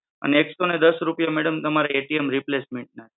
અને એકસો અને દસ રૂપિયા madam તમારે replacement ના છે.